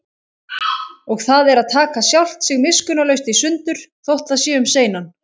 Og það er að taka sjálft sig miskunnarlaust í sundur, þótt það sé um seinan.